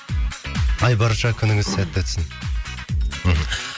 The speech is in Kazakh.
айбарша күніңіз сәтті өтсін мхм